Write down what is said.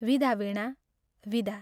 विदा वीणा, विदा।